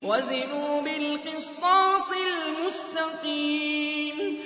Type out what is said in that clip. وَزِنُوا بِالْقِسْطَاسِ الْمُسْتَقِيمِ